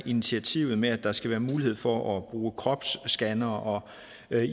initiativet med at der skal være mulighed for at bruge kropsskannere